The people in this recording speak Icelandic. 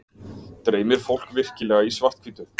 dreymir fólk virkilega í svarthvítu